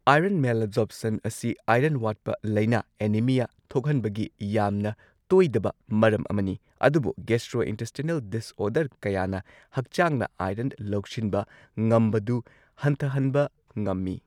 Iron malabsorption ꯑꯁꯤ iron ꯋꯥꯠꯄ ꯂꯥꯏꯅ ꯑꯦꯅꯤꯃꯤꯌꯥ ꯊꯣꯛꯍꯟꯕꯒꯤ ꯌꯥꯝꯅ ꯇꯣꯏꯗꯕ ꯃꯔꯝ ꯑꯃꯅꯤ, ꯑꯗꯨꯕꯨ ꯒꯦꯁꯇ꯭ꯔꯣꯏꯟꯇꯦꯁꯇꯤꯅꯦꯜ ꯗꯤꯁꯑꯣꯔꯗꯔ ꯀꯌꯥꯅ ꯍꯛꯆꯥꯡꯅ ꯑꯥꯏꯔꯟ ꯂꯧꯁꯤꯟꯕ ꯉꯝꯕꯗꯨ ꯍꯟꯊꯍꯟꯕ ꯉꯝꯃꯤ꯫